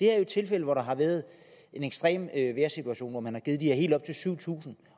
er jo tilfælde hvor der har været en ekstrem vejrsituation og man har givet helt op til syv tusind